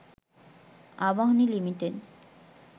Abahani limited